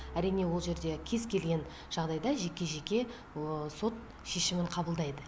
әрине ол жерде кез келген жағдайда жеке жеке сот шешімін қабылдайды